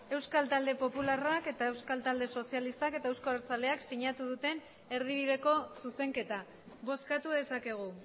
euskal talde popularrak eta euskal talde sozialistak eta euzko abertzaleak sinatu duten erdibideko zuzenketa bozkatu dezakegu